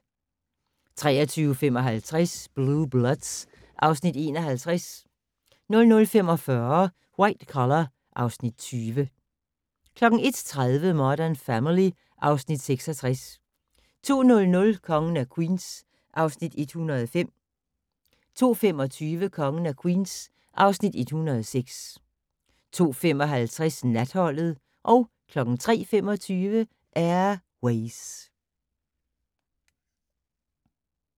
23:55: Blue Bloods (Afs. 51) 00:45: White Collar (Afs. 20) 01:30: Modern Family (Afs. 66) 02:00: Kongen af Queens (Afs. 105) 02:25: Kongen af Queens (Afs. 106) 02:55: Natholdet 03:25: Air Ways